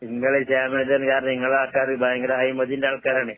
ഇങ്ങള് ക്ഷേമകരമാണെന്ന് പറഞ്ഞാ ഇങ്ങളെ ആൾക്കാര് ഭയങ്കര അഴിമതീന്റാൾക്കാരാണ്.